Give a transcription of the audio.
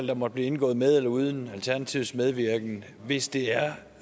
der måtte blive indgået med eller uden alternativets medvirken hvis det er